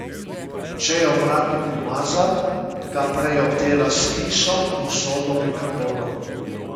Če je ovratnik umazan, ga prej obdela s kisom in sodo bikarbono.